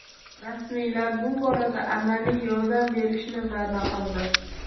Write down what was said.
Rasmiylar bu borada amaliy yordam berishni va’da qildi.